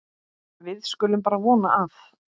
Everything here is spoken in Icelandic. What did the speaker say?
Við skulum bara vona að